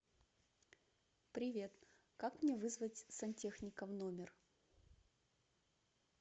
привет как мне вызвать сантехника в номер